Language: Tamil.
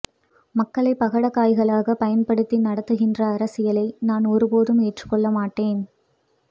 மக்களை பகடக்காய்களாக பயன்படுத்தி நடத்துகின்ற அரசியலை நான் ஒருபோதும் ஏற்றுக்கொள்ள மாட்டேன்